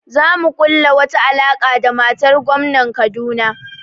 Za mu ƙula wata alaƙa da matar gomnan Kaduna